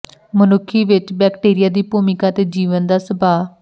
ਮਨੁੱਖੀ ਵਿਚ ਬੈਕਟੀਰੀਆ ਦੀ ਭੂਮਿਕਾ ਅਤੇ ਜੀਵਨ ਦਾ ਸੁਭਾਅ